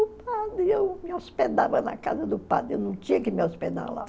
O padre, eu me hospedava na casa do padre, eu não tinha que me hospedar lá.